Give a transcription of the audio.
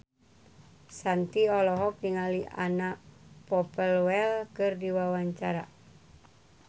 Shanti olohok ningali Anna Popplewell keur diwawancara